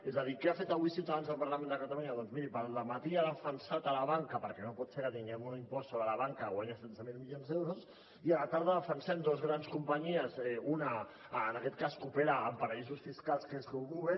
és a dir què ha fet avui ciutadans al parlament de catalunya doncs miri pel dematí ha defensat la banca perquè no pot ser que tinguem un impost sobre la banca que guanya setze mil milions d’euros i a la tarda defensem dos grans companyies una en aquest cas que opera en paradisos fiscals que és uber